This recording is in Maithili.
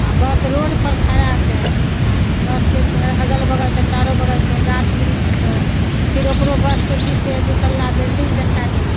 अ बस रोड पर खड़ा छै बस के च अगल-बगल से चारो बगल से गाछ वृक्ष छै फिर ओकरो बस के पीछे दु तल्ला बिल्डिंग दिखाई दे छै।